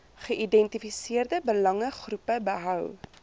geïdentifiseerde belangegroepe behou